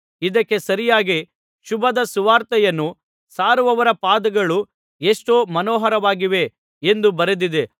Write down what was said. ಇದಕ್ಕೆ ಸರಿಯಾಗಿ ಶುಭದ ಸುವಾರ್ತೆಯನ್ನು ಸಾರುವವರ ಪಾದಗಳು ಎಷ್ಟೋ ಮನೋಹರವಾಗಿವೆ ಎಂದು ಬರೆದಿದೆ